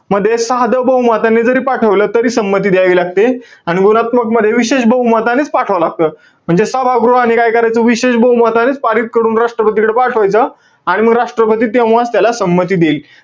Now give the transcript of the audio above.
मध्ये साधं बहुमताने जरी पाठवलं, तरी संमती द्यावी लागते. आणि गुणात्मकमध्ये विशेष बहुमतानेच पाठवावं लागतं. म्हणजे सभागृहाने काय करायचं? विशेष बहुमतानेच पारित करून राष्ट्रपतीकडे पाठवायचं. आणि म राष्ट्रपती तेव्हा त्याला संमती देईल.